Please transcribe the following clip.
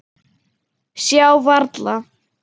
Sjá varla.